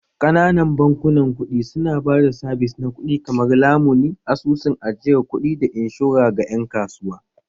Ƙananan bankunan kuɗi su na ba da sabis na kuɗi kamar lamuni, asusun ajiyar kuɗi, da inshora ga ƴan kasuwa